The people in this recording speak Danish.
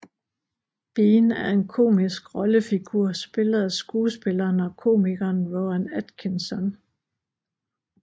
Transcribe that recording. Bean er en komisk rollefigur spillet af skuespilleren og komikeren Rowan Atkinson